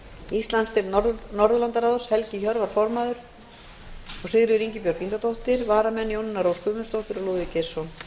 íslandsdeild norðurlandaráðs helgi hjörvar formaður og sigríður ingibjörg ingadóttir varamenn eru jónína rós guðmundsdóttir og lúðvík geirsson